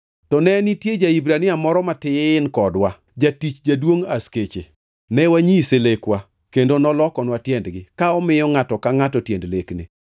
To ne nitie ja-Hibrania moro matin kodwa, jatich jaduongʼ askeche. Ne wanyise lekwa, kendo nolokonwa tiendgi, ka omiyo ngʼato ka ngʼato tiend lekne.